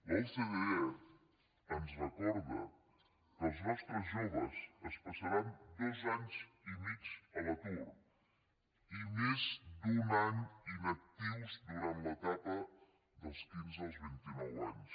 l’ocde ens recorda que els nostres joves es passaran dos anys i mig a l’atur i més d’un any inactius durant l’etapa dels quinze als vint i nou anys